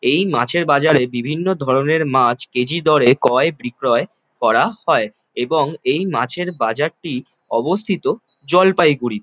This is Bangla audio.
এই মাছের বাজারের বিভিন্ন ধরনের মাছ কেজি দরে ক্রয়-বিক্রয় করা হয় এবং এই মাছের বাজারটি অবস্থিত জলপাইগুড়ি ।